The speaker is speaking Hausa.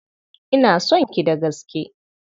Ina son ki da gaske.